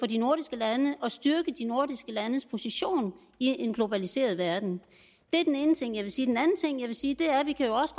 de nordiske lande og styrke de nordiske landes position i en globaliseret verden det er den ene ting jeg vil sige den anden ting jeg vil sige er at vi jo også